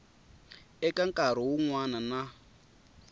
eka nkarhi wun wana na